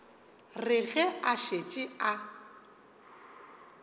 re ge a šetše a